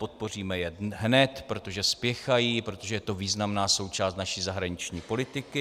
Podpoříme je hned, protože spěchají, protože to je významná součást naší zahraniční politiky.